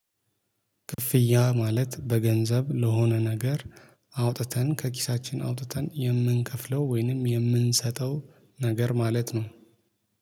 ክፍያ ማለት በገንዘብ ለሆነ ነገር አውጥተን ከኪሳችን አውጥተን የምንከፍለው ወይንም የምንሰጠው ነገር ማለት ነው